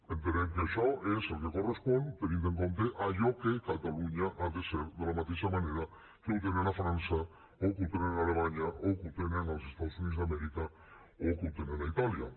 entenem que això és el que correspon tenint en compte allò que catalunya ha de ser de la mateixa manera que ho tenen a frança o que ho tenen a alemanya o que ho tenen als estats units d’amèrica o que ho tenen a itàlia